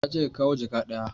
Na ce ka kawo jaka ɗaya